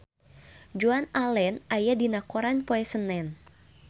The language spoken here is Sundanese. Joan Allen aya dina koran poe Senen